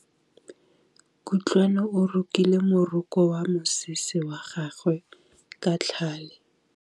Kutlwanô o rokile morokô wa mosese wa gagwe ka tlhale.